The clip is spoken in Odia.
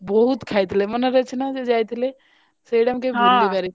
ବହୁତ ଖାଇବୁ ମନେ ଅଛି ନା ଯୋଉ ଯାଇଥିଲେ ସେଇଟା ମୁଁ ହଁ କେବେ ଭୁଲି ପାରିବିନି।